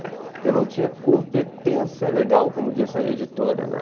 Porque eu não tinha competência legal, como disse a editora na